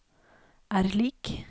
er lik